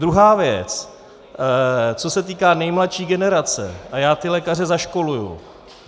Druhá věc, co se týká nejmladší generace, a já ty lékaře zaškoluji.